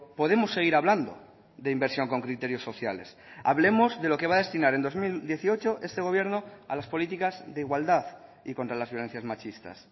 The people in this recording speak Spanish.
podemos seguir hablando de inversión con criterios sociales hablemos de lo que va a destinar en dos mil dieciocho este gobierno a las políticas de igualdad y contra las violencias machistas